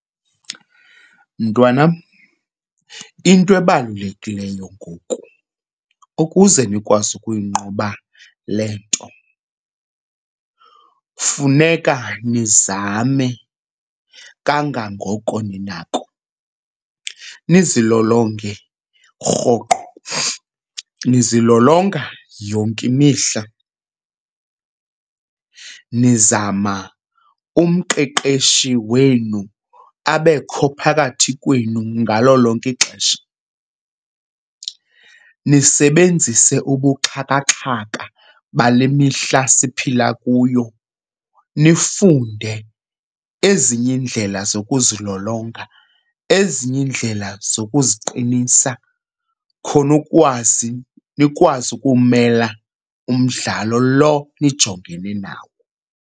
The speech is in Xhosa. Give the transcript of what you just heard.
Mntwanam, into ebalulekileyo ngoku ukuze nikwazi ukuyingquba le nto funeka nizame kangangoko ninako nizilolonge rhoqo. Nizilolonga yonke imihla, nizama umqeqeshi wenu abekho phakathi kwenu ngalo lonke ixesha. Nisebenzise ubuxhakaxhaka bale mihla siphila kuyo nifunde ezinye iindlela zokuzilolonga, ezinye iindlela zokuziqinisa khona ukwazi nikwazi ukumela umdlalo lo nijongene nawo.